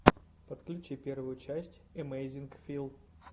подключи первую часть эмэйзинг фил